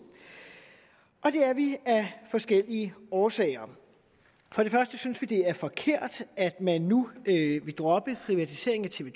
og det er vi af forskellige årsager for det første synes vi det er forkert at man nu vil droppe privatiseringen af tv